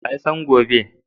Wa ya san gobe?